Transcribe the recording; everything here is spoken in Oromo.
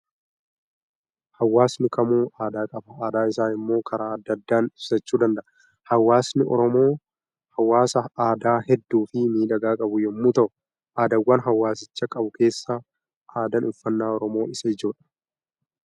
Hawaasni kamuu Aadaa qaba. Aadaa isaa immoo karaa adda addaan ibsachuu danda'a. Hawaasni Oromoo hawaasaa Aadaa hedduu fi miidhagaa qabu yommuu ta'u, aadaawwan hawaasichi qabu keessaa aadaan uffannaa Oromoo isa ijoodha.